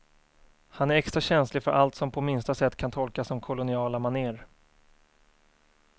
Han är extra känslig för allt som på minsta sätt kan tolkas som koloniala maner.